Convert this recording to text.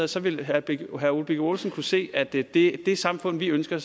så ville herre ole birk olesen kunne se at det det samfund vi ønsker